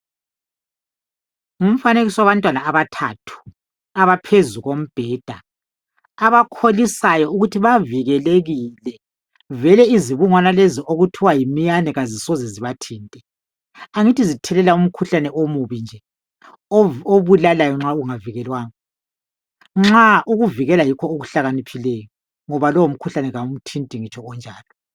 Ngumfanekiso wabantwana abathathu, abaphezu kombheda. Abakholisayo ukuthi bavikelekile, vele izibungwana lezi okuthiwa yimiyane, kazisoze zibathinte. Angithi zithelela umkhuhlane omubi, obulalayo nxa ungavikelwanga.. Ukuvikela yikho okuhlakaniphileyo, ngoba lowomkhuhlane, , kawumthinti ngitsho onjalo.